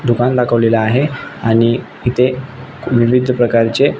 दुकान दाखवलेले आहे आणि इथे विविध प्रकारचे--